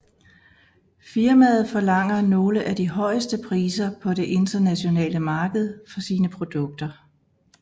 Firmaet forlanger nogle af de højeste priser på det internationale marked for sine produkter